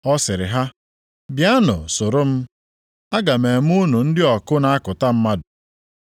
Ọ sịrị ha, “Bịanụ soro m. Aga m eme unu ndị ọkụ na-akụta mmadụ.”